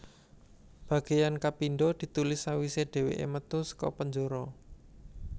Bagiyan kapindho ditulis sawisé dhèwèké metu saka penjara